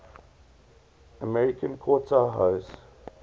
american quarter horse